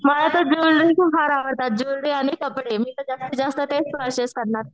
मला तर ज्वेलरी फार आवडतात ज्वेलरी आणि कपडे मी तर जास्त तेच पर्चेस करणार.